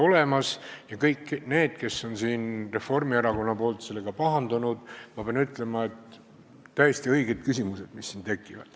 Ütlen kõigile reformierakondlastele, kes on selle pärast pahandanud, et need on täiesti õiged küsimused.